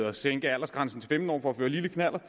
at sænke aldersgrænsen for at føre lille knallert